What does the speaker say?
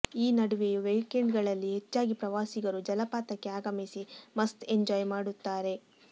ಈ ನಡುವೆಯೂ ವೀಕೆಂಡ್ ಗಳಲ್ಲಿ ಹೆಚ್ಚಾಗಿ ಪ್ರವಾಸಿಗರು ಜಲಪಾತಕ್ಕೆ ಆಗಮಿಸಿ ಮಸ್ತ್ ಎಂಜಾಯ್ ಮಾಡುತ್ತಾರೆ